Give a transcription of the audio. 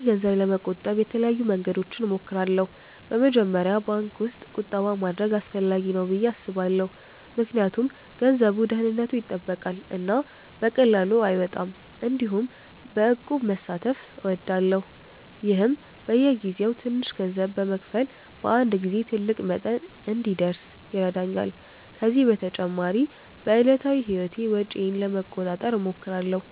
እኔ ገንዘብ ለመቆጠብ የተለያዩ መንገዶችን እሞክራለሁ። በመጀመሪያ ባንክ ውስጥ ቁጠባ ማድረግ አስፈላጊ ነው ብዬ አስባለሁ ምክንያቱም ገንዘቡ ደህንነቱ ይጠበቃል እና በቀላሉ አይወጣም። እንዲሁም በእቁብ መሳተፍ እወዳለሁ፣ ይህም በየጊዜው ትንሽ ገንዘብ በመክፈል በአንድ ጊዜ ትልቅ መጠን እንዲደርስ ይረዳኛል። ከዚህ በተጨማሪ በዕለታዊ ህይወቴ ወጪዬን ለመቆጣጠር እሞክራለሁ፣